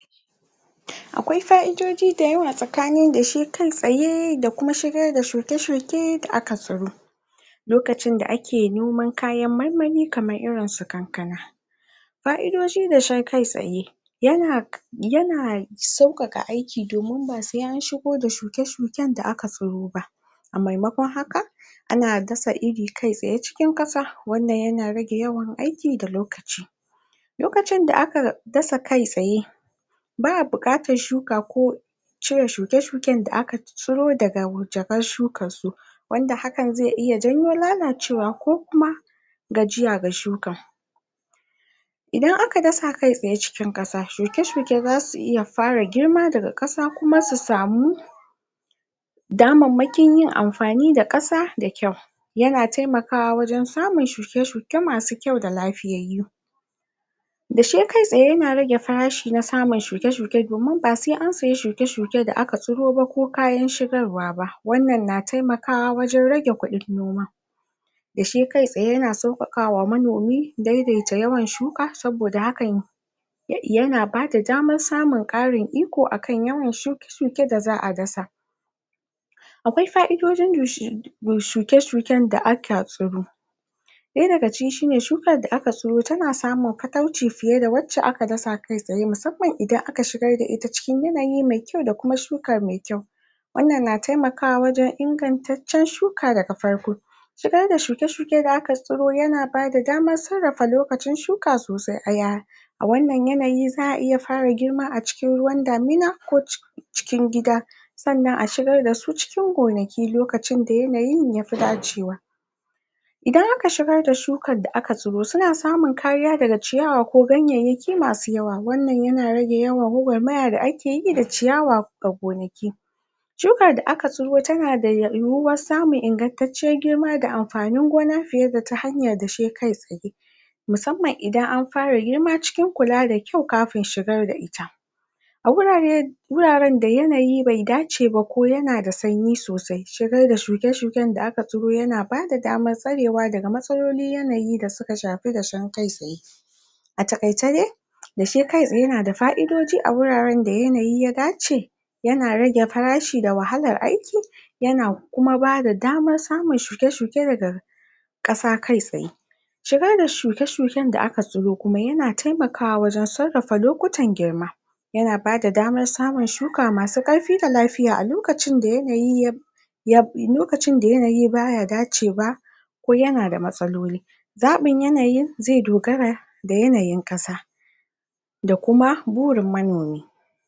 akwai fa'idodi da yawa tsakanin dashe kai tsaye da kuma shigar da shuke-shuke da aka tsiro lokacin da ake noman kayan marmari kamar irin su kankana fa'idodin dashe kai tsaye yana yana sauƙaƙa aiki domin ba se an shigo shuke-shuken da aka tsiro ba a maimakon haka ana dasa iri kai tsaye cikin ƙasa wannan yana rage yawan aiki da lokaci lokacin da aka dasa kai tsaye ba'a buƙatar shuka ko cire shuke-shuken da aka ciro daga jakar shukar su wanda hakan ze iya janyo lalacewa ko kuma gajiya ga shukan idan aka dasa kai tsaye cikin ƙasa shuke-shuke zasu iya fara girma daga ƙasa kuma su samu damammakin yin amfani da ƙasa da kyau yana temakawa wajen samun shuke-shuke masu kyau da lafiyayyu dashe kai tsaye yana rage farashi na samun shuke-shuke domin ba se an siya shuke -shuke da aka tsiro ba ko kayan shigarwa ba wannan na temakawa wajen rage kuɗin noma dashe kai tsaya yana sauƙaƙa wa manomi dai-dai ta yawan shuka saboda hakan yana bada daman samun ƙarin iko akan yawan shuke-shuke da za'a dasa akwai faidodin ga shuke-shuken da aka tsiro ɗaya daga ciki shine shukar da aka tsiro tana samun katauci fiye da wacce aka dasa kai tsaye musamman idan aka shigar da ita cikin yanayi me kyau da kuma shuka me kyau wannan na temakawa wajen ingantaccen shuka daga farko shigar da shuke-shuke da aka tsiro yana bada daman sarrafa lokacin shuka a wannan yanayi za'a iya fara girma a cikin ruwan damina ko cikin gida sannan a shigar da su cikin gonaki lokacin da yanayin ya fi dacewa idan aka shigar da shukar da aka tsiro suna samun kariya daga ciyawa ko ganyayyaki masu yawa wannan yana rage yawan gwagwarmaya da ake yi da ciyawa a gonaki shukar da aka tsiro tana da yiwuwar samun ingantacciyar girma da amfanin gona fiye da ta hanyar dashe kai tsaye musmman idan an fara girma cikin kula da kyau kafin shigar da ita a wurare wuraren da yanayi be dace ba ko yana da sanyi sosai shigar da shuke-shuken da aka tsiro yana bada damar tsarewa daga matsalolin yanayi da suka shafi dashen kai tsaye a taƙaice dai dashe kai tsaye yana da fa'idodi a wuraren da yanayi ya dace yana rage farashi da wahalar aiki yana kuma bada damar samun shuke-shuke daga ƙasa kai tsaye shigar da shuke-shuken da aka tsiro kuma yana temakawa wajen sarrafa lokutan girma yana bada daman samun shuka masu ƙarfi da lafiya a lokacin da yanayi ya lokacin da yanayi baya dacewa ko yana da matsaloli zaɓin yanayin ze dogara da yanayin ƙasa da kuma burin manomi